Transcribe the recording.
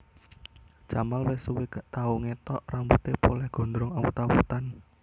Jamal wes suwe gak tau ngethok rambute poleh gondrong awut awutan